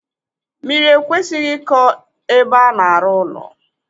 Mmiri ekwesịghị ịkọ ebe a na-arụ ụlọ.